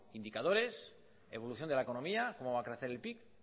indicadores evolución de la economía cómo va a crecer el pib